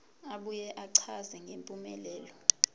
abuye achaze ngempumelelo